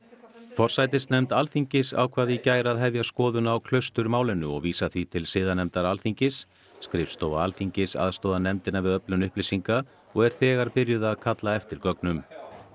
forsætisnefnd Alþingis ákvað í gær að hefja skoðun á Klausturmálinu og vísa því til siðanefndar Alþingis skrifstofa Alþingis aðstoðar nefndina við öflun upplýsinga og er þegar byrjuð að kalla eftir gögnum